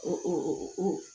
Ɔɔɔɔ